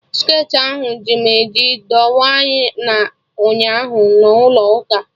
Skirtị ahụ ji m eji dọwa na ụnyaahụ na ụlọ ụka